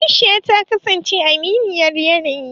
aisha ta kasance aminiyar yanayi